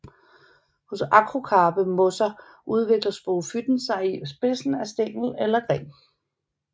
Hos akrokarpe mosser udvikler sporofyten sig i spidsen af stængel eller gren